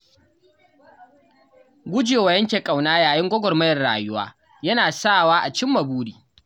Gujewa yanke ƙauna yayin gwagwarmayar rayuwa yana sawa a cimma buri.